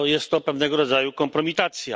No, jest to pewnego rodzaju kompromitacja.